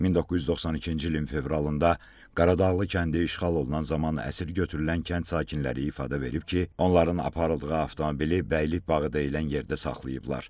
1992-ci ilin fevralında Qaradağlı kəndi işğal olunan zaman əsir götürülən kənd sakinləri ifadə verib ki, onların aparıldığı avtomobili Bəylik bağı deyilən yerdə saxlayıblar.